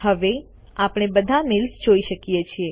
હવે આપણે બધા મેઈલ્સ જોઈ શકીએ છે